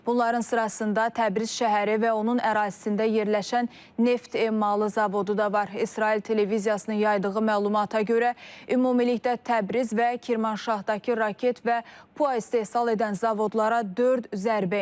Bunların sırasında Təbriz şəhəri və onun ərazisində yerləşən neft emalı zavodu da var, İsrail televiziyasının yaydığı məlumata görə ümumilikdə Təbriz və Kirmanşahdakı raket və PUA istehsal edən zavodlara dörd zərbə endirilib.